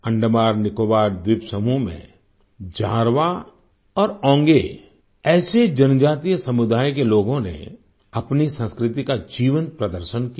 अंडमाननिकोबार द्वीप समूह में जारवा और ओंगे ऐसे जनजातीय समुदायों के लोगों ने अपनी संस्कृति का जीवंत प्रदर्शन किया